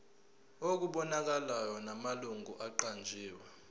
okubonakalayo namalungu aqanjiwe